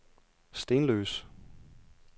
Stenløse